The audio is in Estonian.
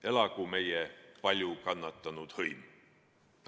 Elagu meie palju kannatanud hõim!